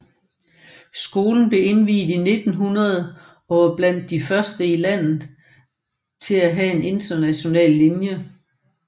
Skolen er indviet i 1900 og var blandt de første i landet til at have en international linje